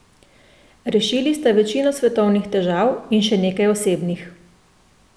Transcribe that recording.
Rešili sta večino svetovnih težav in še nekaj osebnih.